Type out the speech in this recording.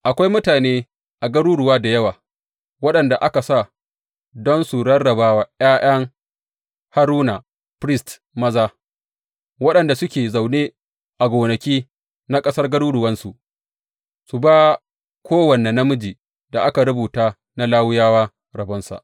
Akwai mutane a garuruwa da yawa waɗanda aka sa don su rarraba wa ’ya’yan Haruna, firist, maza, waɗanda suke zaune a gonaki na ƙasar garuruwansu su ba kowane namijin da aka rubuta na Lawiyawa, rabonsa.